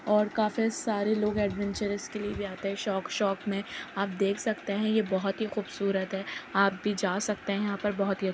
और काफी सारे लोग एडवेंचरस के लिए भी आते हैं शौक-शौक में। आप देख सकते हैं ये बोहोत ही खुबसूरत है। आप भी जा सकते है यहाँ पे बोहोत ही --